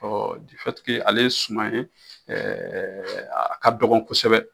ale ye suman ye a ka dɔgɔn kosɛbɛ.